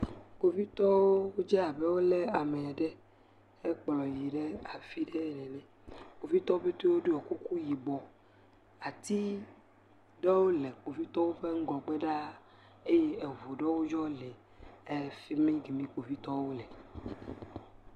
Kpovitɔwo dze abe wo le ame aɖe hekplɔ yi ɖe afi ɖe ene. Kpovitɔwo pɛte woɖɔ kuku yibɔ. Ati aɖewo le kpovitɔwo ŋgɔgbe ɖa eye eŋu ɖewo yɔ le efi mi kemi kpovitɔwo le.